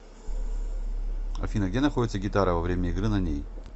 афина где находится гитара во время игры на ней